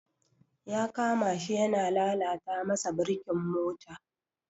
Ya kama shi yana lalata masa birkin mota.